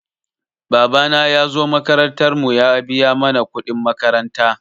Babana ya zo makarantar mu ya biya mana kuɗin makaranta.